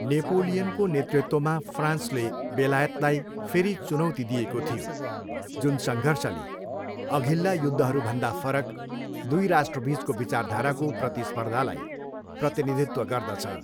नेपोलियनको नेतृत्वमा फ्रान्सले बेलायतलाई फेरि चुनौती दिएको थियो, जुन सङ्घर्षले, अघिल्ला युद्धहरूभन्दा फरक, दुई राष्ट्रबिचको विचारधाराको प्रतिस्पर्धालाई प्रतिनिधित्व गर्दछ।